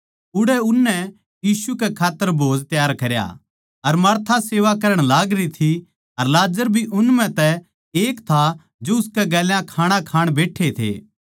उड़ै उननै यीशु कै खात्तर खाणा पकाया अर मार्था सेवा करण लागरी थी अर लाजर भी उन म्ह तै एक था जो उसकै गेल्या खाणा खाण बैट्ठे थे